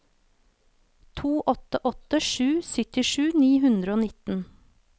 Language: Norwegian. to åtte åtte sju syttisju ni hundre og nitten